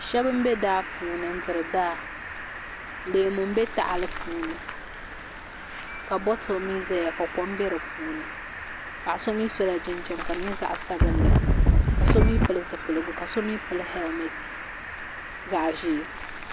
Shɛba m-be daa puuni n-diri daa leemu m-be tahili puuni ka botili mi zaya ka kom be di puuni paɣa so mi sola jinjam ka di nyɛ zaɣ'sabinli ka so mi pili zipiligu ka so mi pili helimeti zaɣ'ʒee.